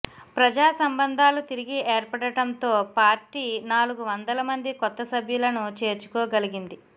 ప్రజాసంబంధాలు తిరిగి ఏర్పడటంతో పార్టీ నాలుగువందల మంది కొత్త సభ్యులను చేర్చుకోగలిగింది